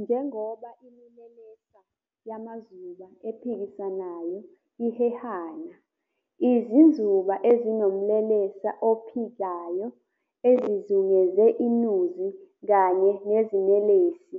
Njengoba imilelesa yamazuba ephikisanayo ihehena, izinzuba ezinomlelesa ophikayo ezizungeze inuzi kanye neziNelesi